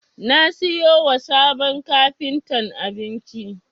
Na siyo wa sabon kafintan abinci.